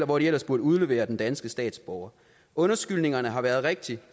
hvor de ellers burde udlevere den danske statsborger undskyldningerne har været rigtig